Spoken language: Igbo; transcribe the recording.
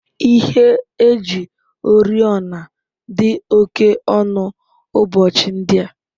Ihe eji oriọna dị oke ọnụ ụbọchị ndị a.